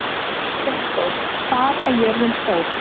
Unndór, hvað er jörðin stór?